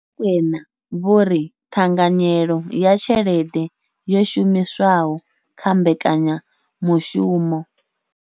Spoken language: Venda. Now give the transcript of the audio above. Vho Rakwena vho ri, ṱhanganyelo ya tshelede yo shumiswaho kha mbekanya mushumo.